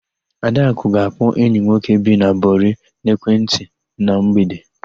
Adakụ ga-akpọ enyi nwoke bi na Bori n'ekwentị na mgbede.